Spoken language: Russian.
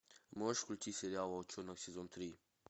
можешь включить сериал волчонок сезон три